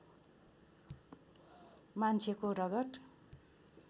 मान्छेको रगत